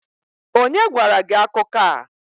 onye gwara gi akuko a?